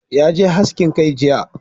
Ya je haskin kai jiya